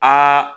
Aa